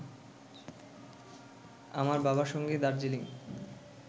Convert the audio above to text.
আমার বাবার সঙ্গে দার্জিলিং